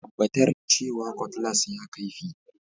Tabbatar cewa Cutlass ya kaifi